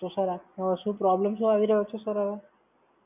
તો Sir આપને શું problem શું આવી રહ્યો છે Sir હવે?